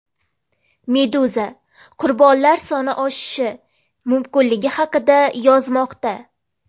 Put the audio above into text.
Meduza qurbonlar soni oshishi mumkinligi haqida yozmoqda.